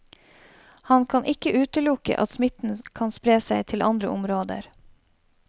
Han kan ikke utelukke at smitten kan spre seg til andre områder.